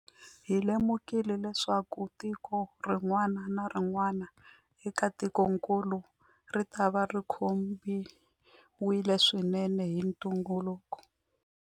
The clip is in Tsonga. Hi lemukile leswaku tiko rin'wana na rin'wana eka tikokulu ritava ri khumbiwile swinene hi ntungukulu.